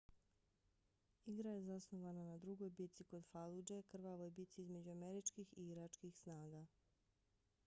igra je zasnovana na drugoj bici kod faludže krvavoj bici između američkih i iračkih snaga